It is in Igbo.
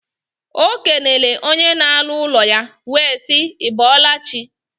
O kenele onye na alu ulo ya, we sii: I bolachi?